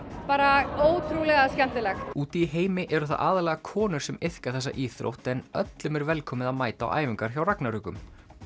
bara ótrúlega skemmtilegt úti í heimi eru það aðallega konur sem iðka þessa íþrótt en öllum er velkomið að mæta á æfingar hjá ragnarökum